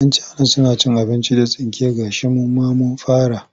Yan cana suna cin abinci da tsinke gashi mu ma mun fara.